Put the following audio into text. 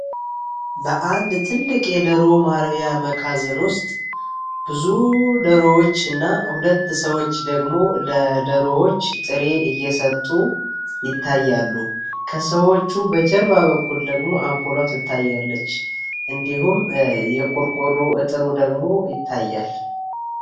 በአንድ ትልቅ የደሮውም አርቢያ መካዝን ውስጥ ብዙ ደሮዎች እና ሁለት ሰዎች ደግሞ ለደሮዎች ጥሬ እየሰጡ ይታያሉ። ከሰዎቹ በጀርባ በኩል ደግሞ አምፖሏ ትታያለች እንዲሁም የቁርቁ የጥሩ ደግሞ ይታያል።